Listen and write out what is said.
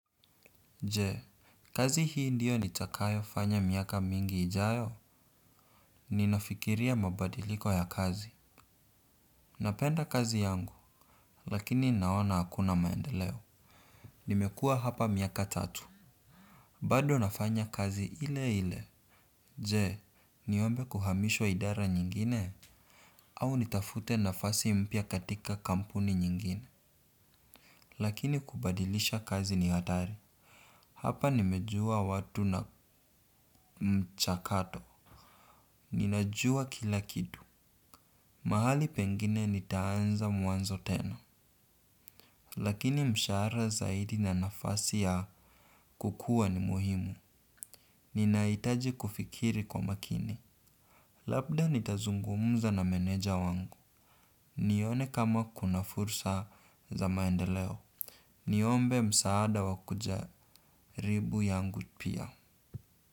Jee, kazi hii ndiyo nitakayo fanya miaka mingi ijayo. Ninafikiria mabadiliko ya kazi. Napenda kazi yangu, lakini naona hakuna maendeleo. Nimekua hapa miaka tatu. Bado nafanya kazi ile ile. Jee, niombe kuhamishwa idara nyingine? Au nitafute nafasi mpya katika kampuni nyingine. Lakini kubadilisha kazi ni hatari. Hapa nimejua watu na mchakato. Ninajua kila kitu. Mahali pengine nitaanza mwanzo tena. Lakini mshara zaidi na nafasi ya kukua ni muhimu. Ninaitaji kufikiri kwa makini. Labda nitazungumuza na meneja wangu. Nione kama kuna fursa za maendeleo. Niombe msaada wakujaribu yangu pia.